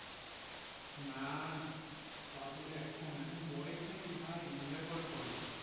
না না তাবলে এখন এখন বয়েস তা কি enjoy কবে করবো?